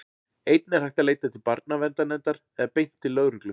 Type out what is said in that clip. Einnig er hægt að leita til barnaverndarnefndar eða beint til lögreglu.